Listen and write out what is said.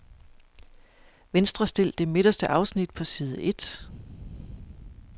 Venstrestil det midterste afsnit på side et.